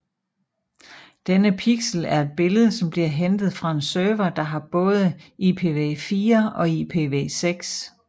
Denne pixel er et billede som bliver hentet fra en server der har både IPv4 og IPv6